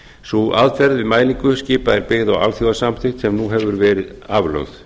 sú aðferð við mælingu skipa er byggð á alþjóðasamþykkt sem hefur verið aflögð